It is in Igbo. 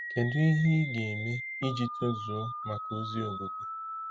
Kedu ihe ị ga-eme iji tozuo maka ozi ogige?